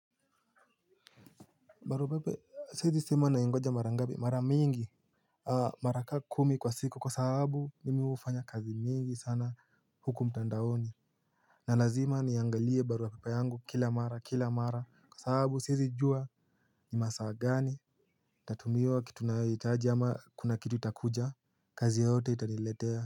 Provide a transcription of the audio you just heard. Barua pepe siwezi sema na ingoja mara ngapi mara mingi. Mara ka kumi kwa siku kwa sahabu mimi hufanya kazi mingi sana huku mtandaoni. Nalazima niangalie baruapepe yangu kila mara kila mara kwa sababu siezi jua ni masaa gani nitatumiwa kitu nayo hitaji ama kuna kitu itakuja. Kazi yoyote itaniletea.